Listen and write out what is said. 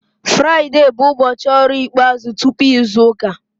Fraịde bụ ụbọchị ọrụ ikpeazụ tupu izu ụka